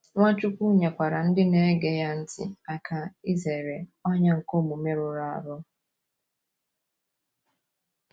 Nwachukwu nyekwaara ndị na - ege ya ntị aka izere ọnyà nke omume rụrụ arụ.